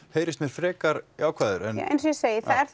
frekar jákvæður eins og ég segi það er